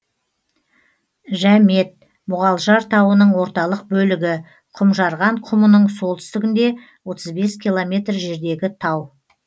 жәмет мұғалжар тауының орталық бөлігі құмжарған құмының солтүстігінде отыз бес километр жердегі тау